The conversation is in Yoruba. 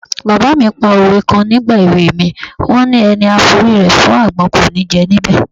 Bàbá mi pa òwe kan nígbà èwe mi, wọ́n ni: "Ẹni a forí rẹ̀ fágbọ́n, kò ní jẹ níbẹ̀".